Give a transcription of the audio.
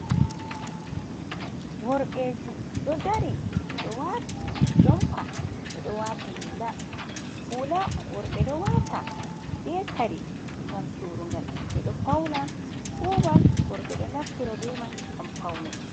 Worɓɓe ji ɗo dari ɓedo wati jompa, ɓeɗo wati hula, hula worɓe ɗo wata be kare ngam surugal, ɓeɗo fauna fuman worɓe ɗo naftira be man ngam paune.